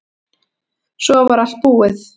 Svo var allt búið.